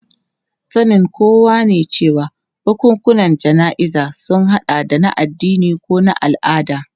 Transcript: Sanin kowa ne cewa bukukuwan jana'izar sun hada da na addini ko na al'ada.